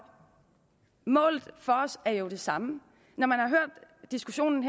målet for os er jo det samme når man har hørt diskussionen